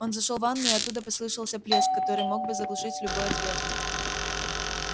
он зашёл в ванную и оттуда послышался плеск который мог бы заглушить любой ответ